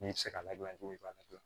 N'i tɛ se ka ladilan cogo min i b'a ladilan